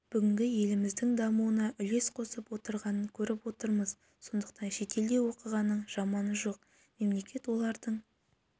бүгінде еліміздің дамуына үлес қосып отырғанын көріп отырмыз сондықтан шетелде оқығанның жаманы жоқ мемлекет олардың